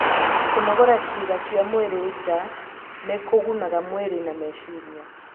Kũnogora ciĩga cia mwĩrĩ nja nĩ kũgunaga mwĩrĩ na meciria.